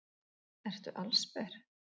Ertu allsber?